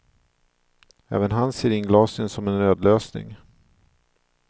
Även han ser inglasningen som en nödlösning.